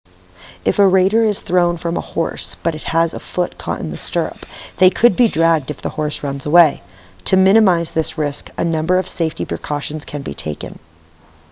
if a rider is thrown from a horse but has a foot caught in the stirrup they could be dragged if the horse runs away to minimize this risk a number of safety precautions can be taken